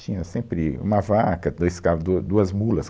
Tinha sempre uma vaca, dois cava, du, duas mulas.